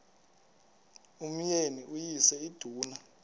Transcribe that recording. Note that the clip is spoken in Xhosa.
umyeni uyise iduna